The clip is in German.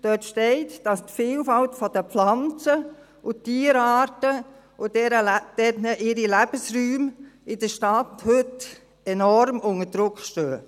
Dort steht, dass die Vielfalt der Pflanzen und Tierarten und ihre Lebensräume in der Stadt heute enorm unter Druck stehen.